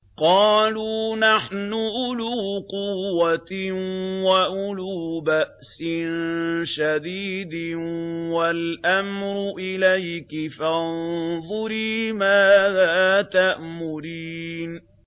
قَالُوا نَحْنُ أُولُو قُوَّةٍ وَأُولُو بَأْسٍ شَدِيدٍ وَالْأَمْرُ إِلَيْكِ فَانظُرِي مَاذَا تَأْمُرِينَ